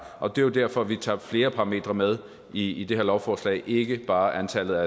og det er jo derfor at vi tager flere parametre med i det her lovforslag ikke bare antallet af